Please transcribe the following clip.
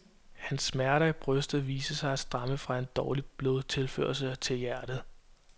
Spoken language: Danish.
Hans smerter i brystet, viste sig at stamme fra en dårlig blodtilførsel til hjertet.